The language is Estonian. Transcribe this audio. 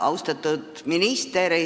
Austatud minister!